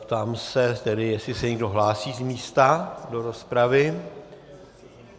Ptám se tedy, jestli se někdo hlásí z místa do rozpravy.